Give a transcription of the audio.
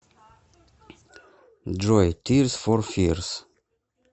джой тирс фор фирс